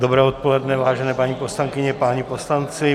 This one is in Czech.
Dobré odpoledne, vážené paní poslankyně, páni poslanci.